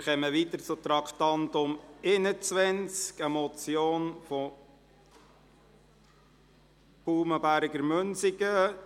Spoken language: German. Wir fahren weiter und kommen zum Traktandum 21, einer Motion von Grossrätin Baumann-Berger, Münsingen: